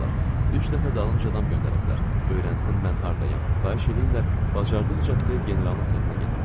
Üç dəfə dalınca adam göndəriblər, öyrənsin mən hardayam, xahiş eləyirlər bacardıqca tez generalın otağına gedim.